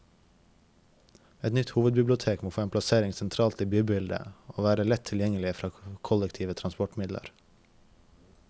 Et nytt hovedbibliotek må få en plassering sentralt i bybildet, og være lett tilgjengelig fra kollektive transportmidler.